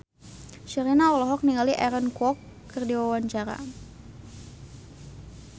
Sherina olohok ningali Aaron Kwok keur diwawancara